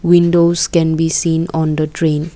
windows can be seen on the train.